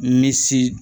Minisi